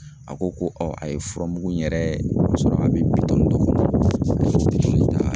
A ko ko a ye furamugu in yɛrɛ sɔrɔ a bi bidɔn dɔ kɔnɔ.